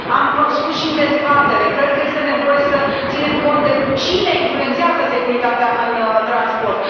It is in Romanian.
Am spus și în dezbatere cred că este nevoie să ținem cont de cine influențează securitatea în transport.